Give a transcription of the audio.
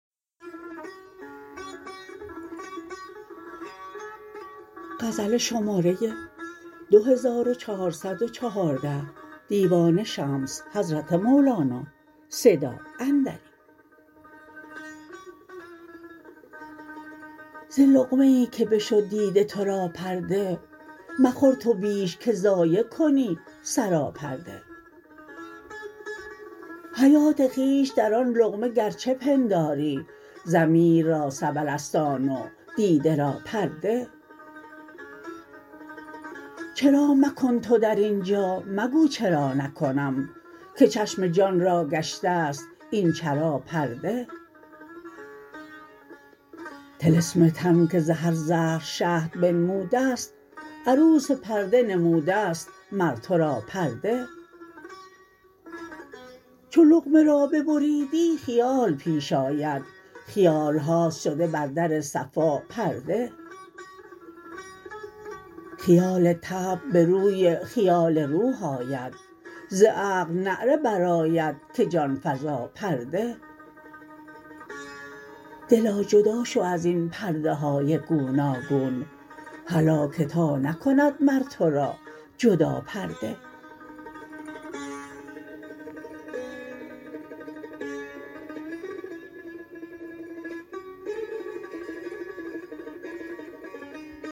ز لقمه ای که بشد دیده تو را پرده مخور تو بیش که ضایع کنی سراپرده حیات خویش در آن لقمه گرچه پنداری ضمیر را سبل است آن و دیده را پرده چرا مکن تو در این جا مگو چرا نکنم که چشم جان را گشته است این چرا پرده طلسم تن که ز هر زهر شهد بنموده ست عروس پرده نموده ست مر تو را پرده چو لقمه را ببریدی خیال پیش آید خیال هاست شده بر در صفا پرده خیال طبع به روی خیال روح آید ز عقل نعره برآید که جان فزا پرده دلا جدا شو از این پرده های گوناگون هلا که تا نکند مر تو را جدا پرده